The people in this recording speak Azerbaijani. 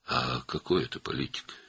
Bu necə siyasətdir?